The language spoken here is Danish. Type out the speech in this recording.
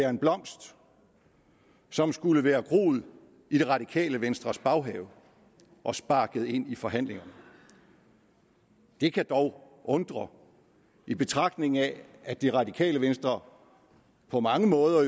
en blomst som skulle være groet i det radikale venstres baghave og sparket ind i forhandlingerne det kan dog undre i betragtning af at det radikale venstre på mange måder